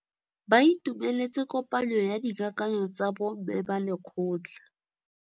Ba itumeletse kôpanyo ya dikakanyô tsa bo mme ba lekgotla.